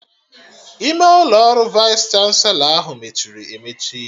Ime ụlọ ọrụ Vaịs chanselọ ahụ mechiri emechi